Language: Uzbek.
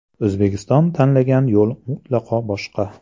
O‘zbekiston tanlagan yo‘l mutlaqo boshqa.